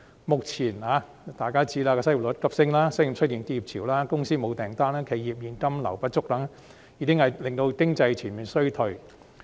目前，失業率急升、商店出現結業潮、公司沒有訂單、企業現金流不足等，已經令經濟全面衰退。